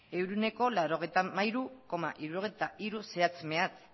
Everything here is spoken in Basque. ehuneko laurogeita hamairu koma hirurogeita hiru zehatz mehatz